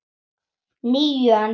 Níu, en þú?